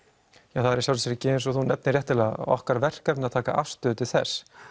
það er að sjálfsögðu eins og þú nefnir ekki okkar verkefni að taka afstöðu til þess